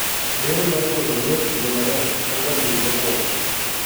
bero mar golo groth kinde mang'eny en ga thieth mokwongo